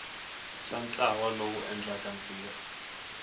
xa ntlawa lowu endlaka ntirho